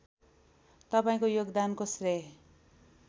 तपाईँको योगदानको श्रेय